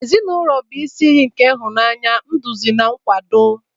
Ezinụlọ bụ isi iyi nke ịhụnanya, nduzi na nkwado.